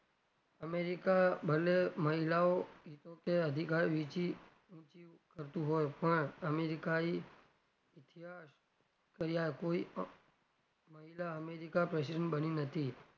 america ભલે મહિલાઓ અધિકાર વેચી કરતુ હોય પણ america એ ઈતિહાસ કર્યા કોઈ પણ મહિલા america president બની નથી.